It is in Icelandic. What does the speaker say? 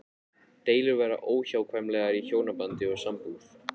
Deilur verða óhjákvæmilega í hjónabandi og sambúð.